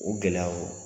O gɛlɛyaw